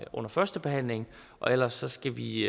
under førstebehandlingen og ellers skal vi i